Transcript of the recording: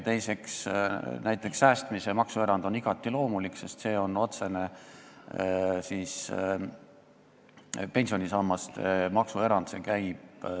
Teiseks, näiteks säästmise maksuerand, pensionisammaste maksuerand on igati loomulik.